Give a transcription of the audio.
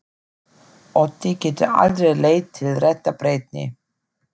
Ótti getur aldrei leitt til réttrar breytni.